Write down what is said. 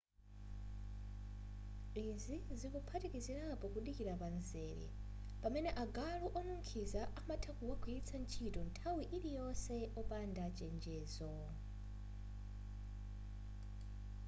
izi zikuphatikizirapo kudikilira pamzere pamene agalu onukhiza amatha kuwagwiritsa ntchito nthawi iliyonse opanda chenjezo